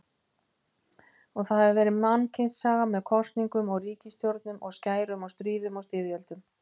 Og það hefur verið mannkynssaga með kosningum og ríkisstjórnum og skærum og stríðum og styrjöldum.